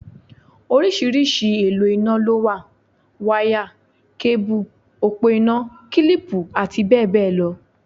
Oríṣiríṣi èlò iná lówà; wáyà, kébù, òpó iná, kílìpù àti bẹ́ẹ̀ bẹ́ẹ̀ lọ.